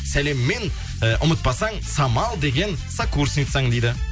сәлеммен ііі ұмытпасаң самал деген сокурсницаң дейді